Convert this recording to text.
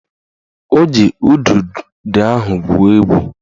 O ji udude ahụ gwuo egwu